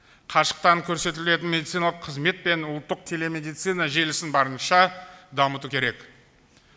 қашықтан көрсетілетін медициналық қызмет пен ұлттық телемедицина желісін барынша дамыту керек